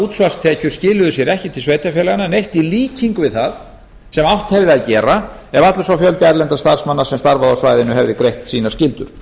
útsvarstekjur skiluðu sér ekki til sveitarfélaganna neitt í líkingu við það sem átt hefði að gera ef allur sá fjöldi erlendra starfsmanna sem starfaði á svæðinu hefði greitt sínar skyldur